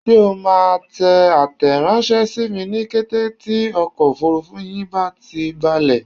Ṣé o máa tẹ àtẹranṣẹ sími ní kété tí ọkọ̀ òfurufú yín bá ti balẹ̀?